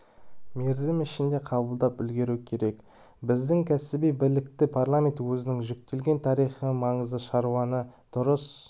мерзім ішінде қабылдап үлгеру керек біздің кәсіби білікті парламент өзіне жүктелген тарихи маңызды шаруаны дұрыс